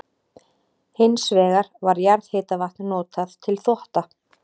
Hins vegar var jarðhitavatn notað til þvotta.